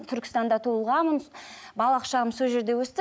түркістанда туылғанмын балалық шағым сол жерде өсті